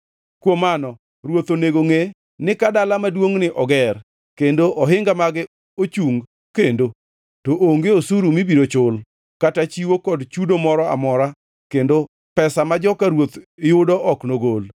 Kuom mano, ruoth onego ngʼe ni ka dala maduongʼni oger kendo ohinga mage ochung kendo, to onge osuru mibiro chul, kata chiwo kod chudo moro amora kendo pesa ma joka ruoth yudo ok nogol.